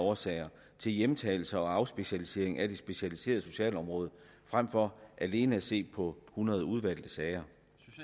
årsager til hjemtagelser og afspecialisering af det specialiserede socialområde frem for alene at se på hundrede udvalgte sager